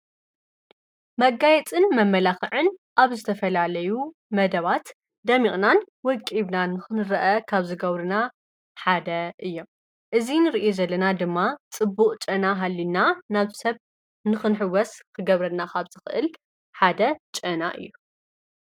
መጋየጥን መመላኽዕን ኣብ ዝተፈላዓለዩ መደባት ደሚቕናን ወቂብና ንክንርአ ካብ ዝገብርና ሓደ እዮም እዙይ ንርኢ ዘለና ድማ ጽቡቕ ጨና ሃሊና ናብ ሰብ ንኽንሕወስ ኽገብረና ኻብ ዝኽእል ሓደ ጨና እዩ።